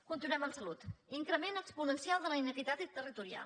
continuem amb salut increment exponencial de la inequitat territorial